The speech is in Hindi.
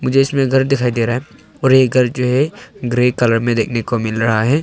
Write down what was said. जो इसमें घर दिखाई दे रहा है और ये घर जो है ग्रे कलर में देखने को मिल रहा है।